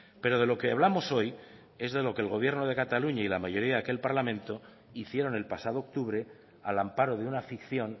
pero de lo que hablamos hoy es de lo que el gobierno de cataluña y la mayoría de aquel parlamento hicieron el pasado octubre al amparo de una ficción